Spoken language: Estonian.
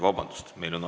Vabandust!